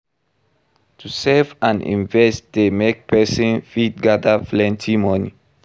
To save and invest de make persin fit gather plenty money